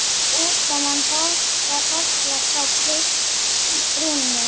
Útkoman var Horft frá brúnni.